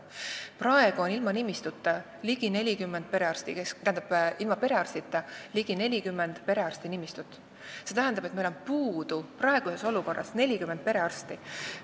Praegu on ligi 40 perearstinimistut ilma arstita, see tähendab, et meil on puudu 40 perearsti.